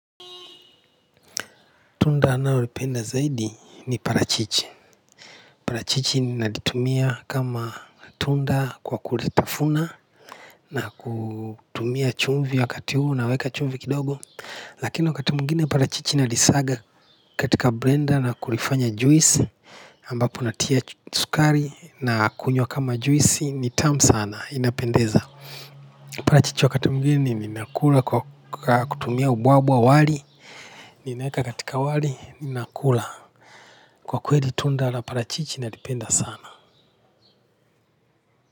Tunda ninalolipenda zaidi ni parachichi parachichi ni ninalitumia kama tunda kwa kulitafuna na kutumia chumvi wakati huu naweka chumvi kidogo lakini wakati mwingine parachichi nalisaga katika blender na kulifanya juisi ambapo natia sukari na kunywa kama juisi ni tamu sana inapendeza parachichi wakati mwingine ninakula kwa kutumia ubwabwa wali ninaweka katika wali ninakula kwa kweli tunda la parachichi nalipenda sana.